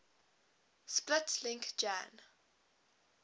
split link jan